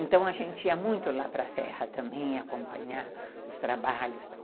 Então, a gente ia muito lá para a Serra também, acompanhar os trabalhos e tal.